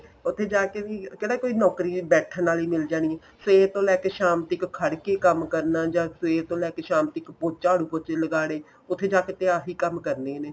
ਉੱਥੇ ਜਾ ਕੇ ਵੀ ਕਿਹੜਾ ਕੋਈ ਨੋਕਰੀ ਬੈਠਣ ਵਾਲੀ ਮਿਲ ਜਾਣੀ ਏ ਸਵੇਰ ਤੋਂ ਲੈ ਕੇ ਸ਼ਾਮ ਤੱਕ ਖੜ੍ਹ ਕੇ ਕੰਮ ਕਰਨਾ ਜਾਂ ਸਵੇਰ ਤੋਂ ਲੈ ਕੇ ਸ਼ਾਮ ਤੱਕ ਚਾੜੂ ਪੋਚੇ ਲਗਾਣੇ ਉੱਥੇ ਜਾ ਕੇ ਤੇ ਆਹੀ ਕੰਮ ਕਰਨੇ ਨੇ